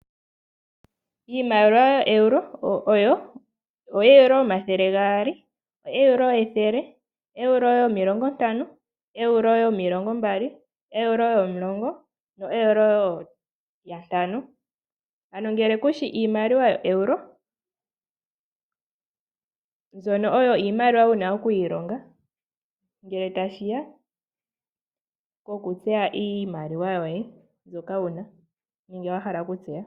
Iimaliwa yoo Euro oyo ooEuro yomathele gaali , oEuro yethele ,oEuro yomilongo ntano ,oEuro yomilongo mbali, oEuro yomulongo ,oEuro yantano . Ano ngele kushi Iimaliwa yooEuro mbyono oyo iimaliwa wuna oku ilonga ngele tashiya pokutseya iimaliwa yoye mbyoka wuna nenge wahala okutseya.